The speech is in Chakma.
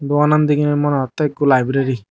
dokanan degi ney mona hota ekho library.